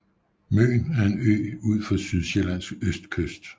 Møn er en ø ud for Sydsjællands østkyst